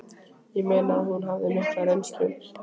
Ég meina að hún hafði mikla reynslu